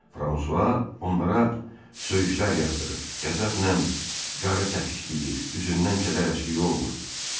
Fransua onlara söyüşlər yağdırır, qəzəblə qarı təpikləyir, üzündən kədər əskik olmurdu.